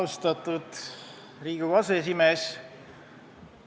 Austatud Riigikogu aseesimees!